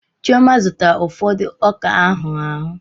Chioma zụtara ụfọdụ ọka ahuru ahu